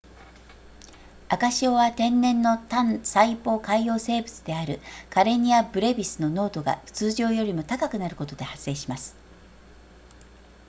赤潮は天然の単細胞海洋生物であるカレニアブレビスの濃度が通常よりも高くなることで発生します